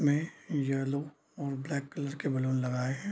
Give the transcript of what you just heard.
ये येलो और black colour के बैलून लगाए है।